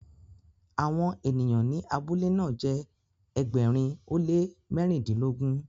awon eniyan ni abule na jé ẹgbẹrin o le mẹrindilogun.